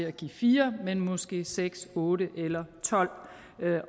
at give fire men måske seks otte eller tolv